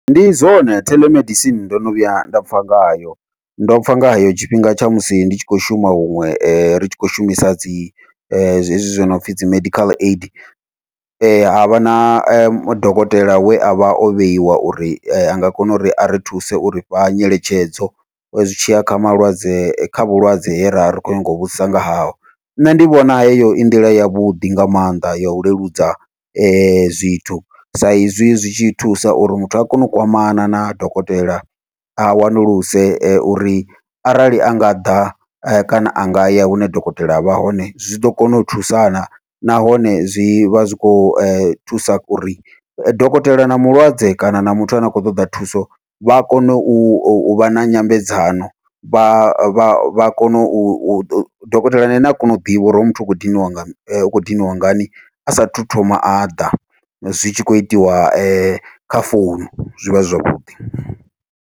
Ndi zwone theḽomedisini ndono vhuya nda pfha ngayo, ndo pfha nga hayo tshifhinga tsha musi ndi tshi khou shuma huṅwe ri tshi khou shumisa dzi hezwi zwi nopfhi dzi medical aid havha na dokotela we avha o vheiwa uri anga kona uri ari thuse u rifha nyeletshedzo, zwi tshiya kha malwadze kha vhulwadze he ra ri khou nyanga u vhudzisa nga haho. Nṋe ndi vhona heyo i nḓila yavhuḓi nga maanḓa ya u leludza zwithu, sa izwi zwi tshi thusa uri muthu a kone u kwamana na dokotela a wanulusiwe uri arali a nga ḓa kana a ngaya hune dokotela avha hone zwi ḓo kona u thusa na, nahone zwivha zwi khou thusa uri dokotela na mulwadze kana na muthu ane a khou ṱoḓa thuso vha kone uvha na nyambedzano vha kone u dokotelani na ene a kona u ḓivha, uri hoyu muthu u khou diniwa nga u kho dinwa ngani asathu thoma aḓa zwi tshi khou itiwa kha founu zwivha zwi zwavhuḓi.